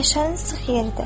Meşənin sıx yeridir.